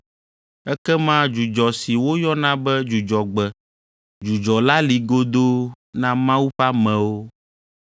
Ekema dzudzɔ si woyɔna be Dzudzɔgbe dzudzɔ la li godoo na Mawu ƒe amewo.